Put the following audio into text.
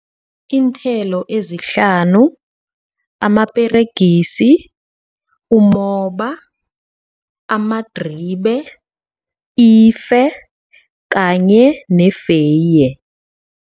Iinthelo ezihlanu amaperegisi, umoba, amadribe, ife kanye feye.